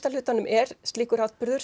hlutanum er slíkur atburður